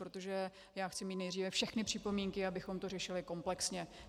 Protože já chci mít nejdříve všechny připomínky, abychom to řešili komplexně.